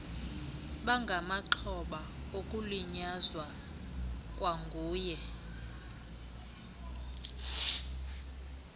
bangamaxhoba okulinyazwa kwanguye